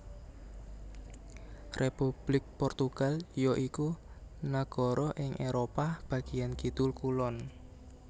Republik Portugal ya iku nagara ing Éropah bagian kidul kulon